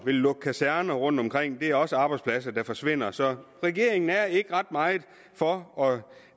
ville lukke kaserner rundtomkring det er også arbejdspladser der forsvinder så regeringen er ikke ret meget for